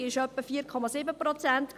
Die Teuerung betrug circa 4,7 Prozent.